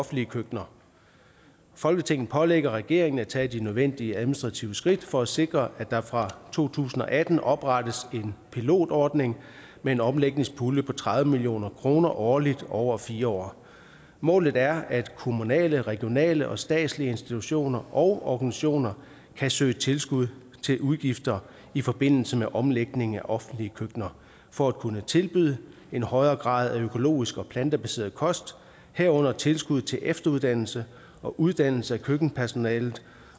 offentlige køkkener folketinget pålægger regeringen at tage de nødvendige administrative skridt for at sikre at der fra to tusind og atten oprettes en pilotordning med en omlægningspulje på tredive million kroner årligt over fire år målet er at kommunale regionale og statslige institutioner og organisationer kan søge tilskud til udgifter i forbindelse med omlægningen af offentlige køkkener for at kunne tilbyde en højere grad af økologisk og plantebaseret kost herunder tilskud til efteruddannelse og uddannelse af køkkenpersonalet